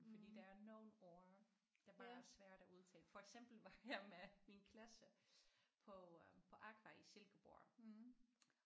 Fordi der er nogle ord der bare er svært at udtale for eksempel var jeg med min klasse på øh på AQUA i Silkeborg